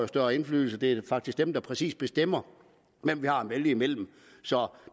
større indflydelse det er faktisk dem der præcis bestemmer hvem vi har at vælge imellem så